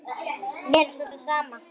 Mér er svo sem sama.